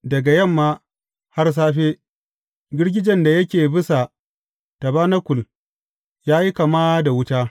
Daga yamma har safe, girgijen da yake bisa tabanakul ya yi kama da wuta.